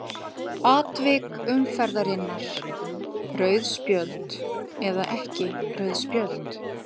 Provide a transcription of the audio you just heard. Atvik umferðarinnar:- Rauð spjöld eða ekki rauð spjöld?